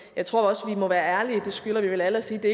jeg tror også vi må være ærlige det skylder vi vel alle og sige at det